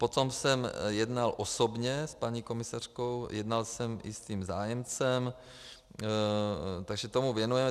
Potom jsem jednal osobně s paní komisařkou, jednal jsem i s tím zájemcem, takže tomu věnujeme.